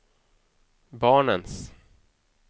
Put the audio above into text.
barnens